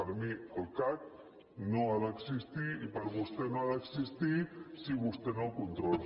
per mi el cac no ha d’existir i per vostè no ha d’existir si vostè no el controla